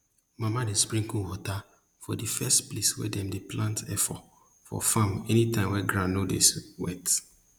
mama dey sprinkle wata for di first place wey dem dey plant efo for farm anytime wey ground no dey wet